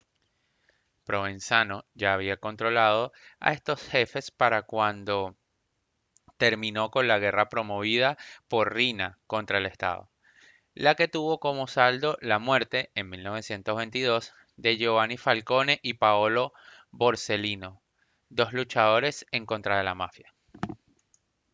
provenzano ya había controlado a estos jefes para cuando terminó con la guerra promovida por riina contra el estado la que tuvo como saldo la muerte en 1922 de giovanni falcone y paolo borsellino dos luchadores en contra la mafia»